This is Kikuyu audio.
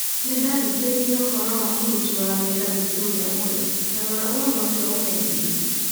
Nĩ ndathikĩrĩirie ũhoro wa mũruti wĩra witũ ũrĩa mwerũ, ta rora ũhoro ũcio na ũmenyithie